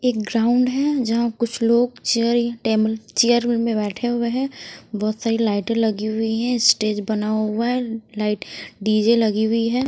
एक ग्राउंड है जहां कुछ लोग चेयर टेबल चेयर में बैठे हुए हैं बहुत सारी लाइटें लगी हुई है स्टेज बना हुआ है लाइट डीजे लगी हुई है।